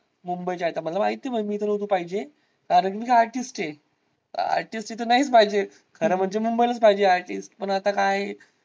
मुंबईच्या आता मला माहिताय मी इथं नव्हतो पाहिजे. कारण मी एक artist आहे. artist तिथे नाहीच पाहिजे खरं म्हणजे मुंबईलाच पाहिजे artist पण आता काय.